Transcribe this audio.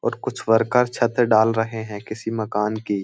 और कुछ वर्कर छत डाल रहे हैं किसी मकान की।